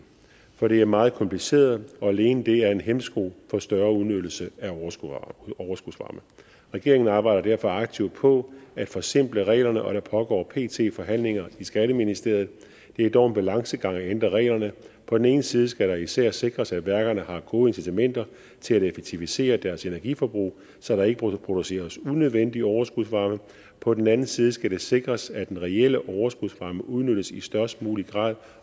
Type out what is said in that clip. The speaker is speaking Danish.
for det er meget kompliceret og alene det er en hæmsko for en større udnyttelse af overskudsvarme regeringen arbejder derfor aktivt på at forsimple reglerne og der foregår pt forhandlinger i skatteministeriet det er dog en balancegang at ændre reglerne på den ene side skal det især sikres at værkerne har gode incitamenter til at effektivisere deres energiforbrug så der ikke produceres unødvendig overskudsvarme på den anden side skal det sikres at den reelle overskudsvarme udnyttes i størst mulig grad